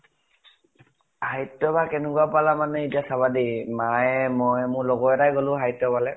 সাহিত্য় সভা কেনেকুৱা পালা মানে এতিয়া চাবা দেই , মায়ে, মই আৰু মোৰ লগৰ এটা য়ে গলো সাহিত্য় সভা লৈ